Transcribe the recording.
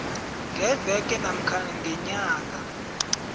ngeveke namkha ngenyanga